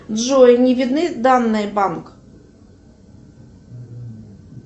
джой не видны данные банк